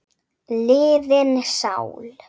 liðin sál.